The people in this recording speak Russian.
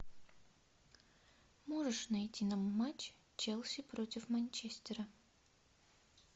можешь найти нам матч челси против манчестера